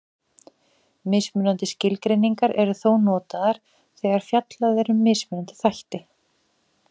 Mismunandi skilgreiningar eru þó notaðar þegar fjallað er um mismunandi þætti.